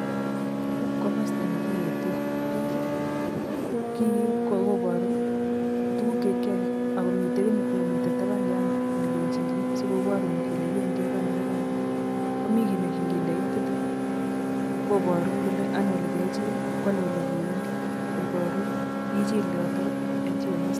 Yuh ko komosto nekineteen biik, kii koboru tuguuk che kiyoe akomi kiy nemi tabaanion nekechile sikoborun kole kibendi Ono ak Ono. Komi kiit nengindoi itiit koboruun kole ano alekechil I,kwano olewendii koborun ichiil yoto.